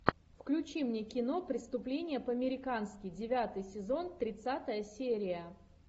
включи мне кино преступление по американски девятый сезон тридцатая серия